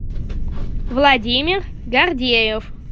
владимир гордеев